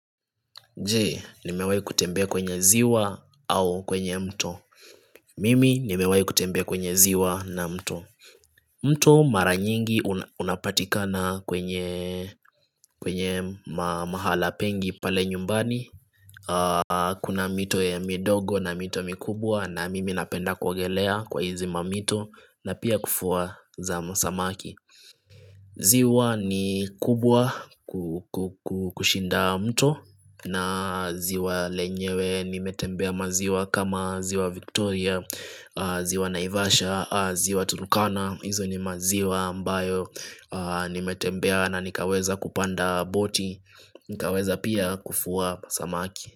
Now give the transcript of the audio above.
Je, nimewahi kutembea kwenye ziwa au kwenye mto Mimi, nimewahi kutembea kwenye ziwa na mto mto mara nyingi unapatikana kwenye mahala pengi pale nyumbani Kuna mito ya midogo na mito mikubwa na mimi napenda kuogelea kwa hizi mamito na pia kuvua za samaki ziwa ni kubwa kushinda mto na ziwa lenyewe nimetembea maziwa kama ziwa Victoria, ziwa Naivasha, ziwa Turukana, hizo ni maziwa mbayo nimetembea na nikaweza kupanda boti, nikaweza pia kuvua samaki.